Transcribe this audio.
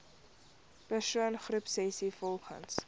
persoon groepsessies volgens